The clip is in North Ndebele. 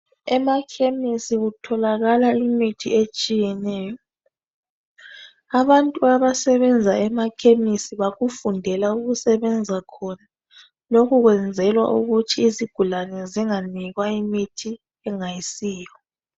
Emakhemisi kutholakala imithi etshiyeneyo. Abantu abasebenza emakhemisi bakufundela ukusebenza khona. Lokhu kwenzelwa ukuthi izigulane zinganikwa imithi engayisiyo.